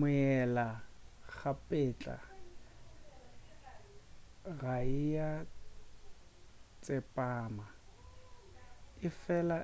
meela-kgapetla ga ea tsepama efela